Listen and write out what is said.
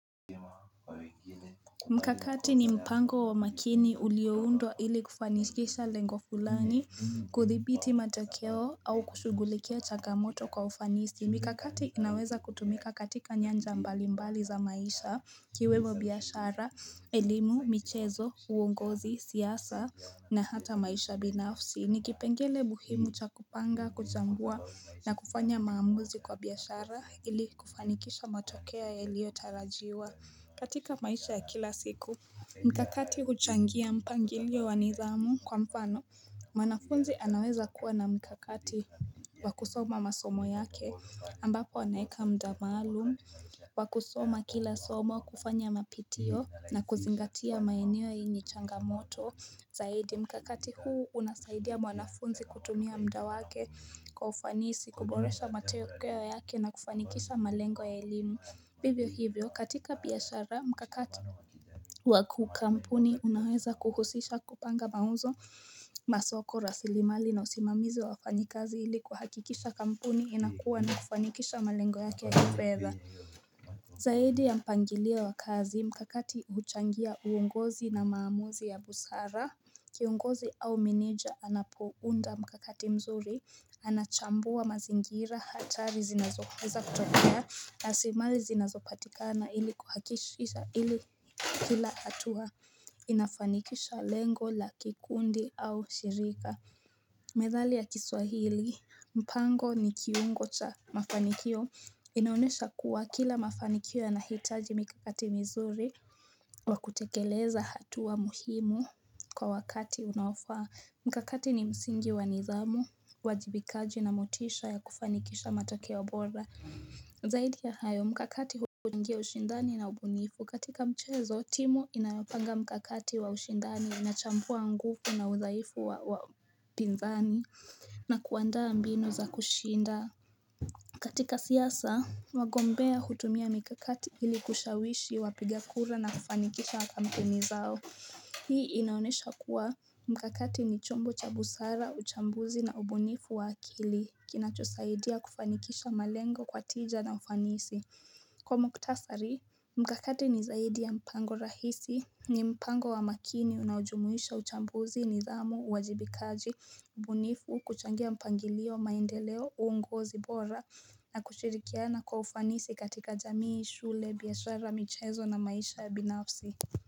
Mkakati ni mpango wa makini ulioundwa ili kufanikisha lengo fulani kuthibiti matokeo au kushugulikia changamoto kwa ufanisi. Mikakati inaweza kutumika katika nyanja mbali mbali za maisha ikiwemo biashara, elimu, michezo, uongozi, siasa na hata maisha binafsi. Ni kipengele muhimu cha kupanga, kuchambua na kufanya maamuzi kwa biashara ili kufanikisha matokeo yalio tarajiwa katika maisha ya kila siku Mkakati huchangia mpangilio wa nidhamu kwa mfano mwanafunzi anaweza kuwa na mkakati wa kusoma masomo yake ambapo anaweka muda maalum Wakusoma kila somo kufanya mapitio na kuzingatia maeneo yenye changamoto zaidi mkakati huu unasaidia mwanafunzi kutumia muda wake kwa ufanisi kuboresha matokeo yake na kufanikisha malengo ya elimu hivyo hivyo katika biashara mkakati wa kikampuni unaweza kuhusisha kupanga mauzo masoko rasilimali na usimamizi wa wafanyikazi ili kuhakikisha kampuni inakuwa na kufanikisha malengo yake ya kifedha Zaidi ya mpangilio wa kazi mkakati huchangia uongozi na maamuzi ya busara Kiongozi au meneja anapounda mkakati mzuri Anachambua mazingira hatari zinazo weza kutokea rasilimali zinazopatikana ili kuhakishisha ili kila hatua Inafanikisha lengo la kikundi au shirika Methali ya kiswahili mpango ni kiungo cha mafanikio inaonyesha kuwa kila mafanikio yana hitaji mikakati mizuri wa kutekeleza hatua muhimu kwa wakati unaofaa Mkakati ni msingi wa nidhamu uajibikaji na motisha ya kufanikisha matokeo bora Zaidi ya hayo, mikakati huingia ushindani na ubunifu katika mchezo, timu inayopanga mkakati wa ushindani ina chambua nguvu na udhaifu wa mpinzani na kuandaa binu za kushinda katika siasa, wagombea hutumia mikakati ili kushawishi wapiga kura na kufanikisha kampeni zao Hii inaonyesha kuwa, mkakati ni chombo cha busara, uchambuzi na ubunifu wa akili, kinachosaidia kufanikisha malengo kwa tija na ufanisi Kwa mkutasari, mkakati ni zaidi ya mpango rahisi ni mpango wa makini unao jumuisha uchambuzi nidhamu uwajibikaji ubunifu kuchangia mpangilio maendeleo uongozi bora na kushirikiana kwa ufanisi katika jamii shule biashara michezo na maisha ya binafsi.